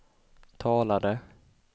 talade